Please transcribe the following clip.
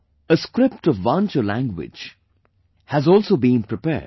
A script of Vancho language has also been prepared